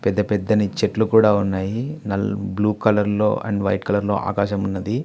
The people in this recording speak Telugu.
పెద్ద పెద్దని చెట్లు కూడా ఉన్నాయి నల్ బ్లూ కలర్ లో అండ్ వైట్ కలర్ లో ఆకాశమున్నది.